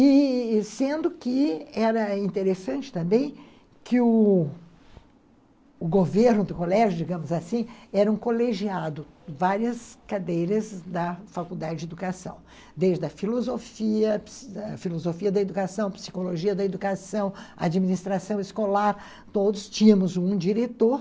E sendo que era interessante também que o governo do colégio, digamos assim, era um colegiado, várias cadeiras da faculdade de educação, desde a filosofia da educação, psicologia da educação, administração escolar, todos tínhamos um diretor.